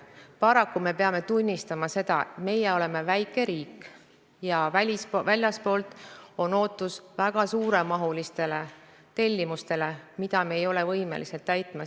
Paraku me peame tunnistama, et oleme väike riik ja väljastpoolt on ootus väga suuremahulistele tellimustele, mida me ei ole võimelised täitma.